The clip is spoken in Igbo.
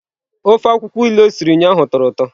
Ofe akwụkwọ ilu o siri ụnyahụ tọrọ ụtọ.